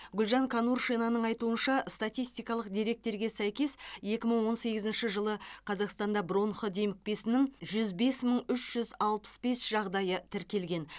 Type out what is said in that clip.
гүлжан конуршинаның айтуынша статистикалық деректерге сәйкес екі мың он сегізінші жылы қазақстанда бронх демікпесінің жүз бес мың үш жүз алпыс бес жағдайы тіркелген